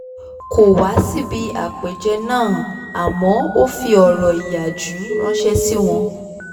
kò wá síbi àpèjẹ náà àmọ́ ó fi ọ̀rọ̀ ìyàjú ránṣẹ́ sí wọn